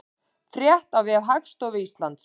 Frétt á vef Hagstofu Íslands